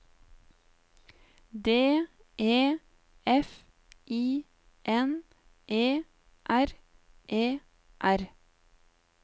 D E F I N E R E R